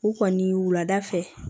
U kɔni wulada fɛ